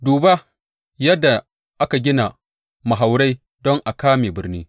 Duba yadda aka gina mahaurai don a kame birni.